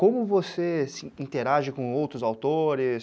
Como você interage com outros autores?